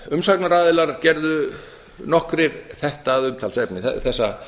umsagnaraðilar gerðu nokkrir þetta að umtalsefni þessa